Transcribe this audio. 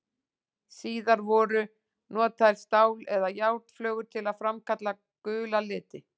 Síðar voru notaðar stál- eða járnflögur til að framkalla gula liti.